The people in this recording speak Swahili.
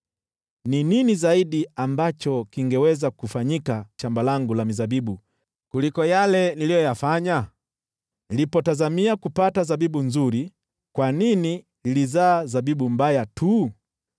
Ni nini zaidi ambacho kingeweza kufanyika kwa shamba langu la mizabibu kuliko yale niliyofanya? Nilipotazamia kupata zabibu nzuri, kwa nini lilizaa zabibu mbaya tu?